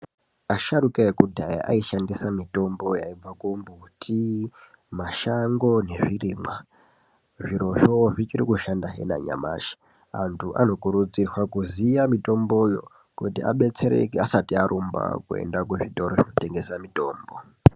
Asharukwa ekudhaya aishandisa mitombo yaibva kumbuti, mashango nezvirimwa. Zvirozvo zvichirikushandahe nanyamashi, antu anokurudzirwa kuziya mitomboyo kuti adetsereke asati arumba kuenda kuzvitoro zvinotengese mitombo.